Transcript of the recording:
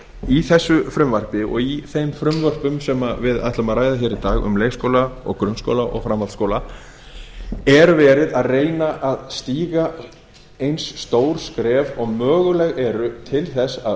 í þessu frumvarpi og í þeim frumvörpum sem við ætlum að ræða hér í dag um leikskóla grunnskóla og framhaldsskóla er verið að reyna að stíga eins stór skref og möguleg eru til þess að